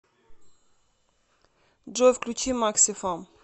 джой включи максифам